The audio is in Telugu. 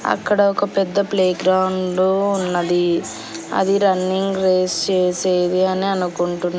అక్కడ ఒక పెద్ద ప్లేగ్రౌండు ఉన్నది అది రన్నింగ్ రేస్ చేసేది అని అనుకుంటున్--